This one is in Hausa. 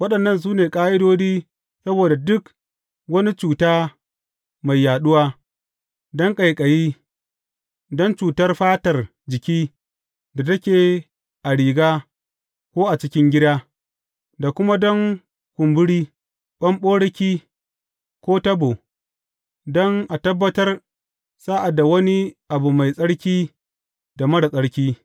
Waɗannan su ne ƙa’idodi saboda duk wani cuta mai yaɗuwa, don ƙaiƙayi, don cutar fatar jiki da take a riga ko a cikin gida, da kuma don kumburi, ɓamɓaroki ko tabo, don a tabbatar sa’ad da wani abu mai tsarki da marar tsarki.